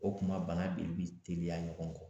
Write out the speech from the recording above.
O kuma bana de bɛ teliya ɲɔgɔn kɔ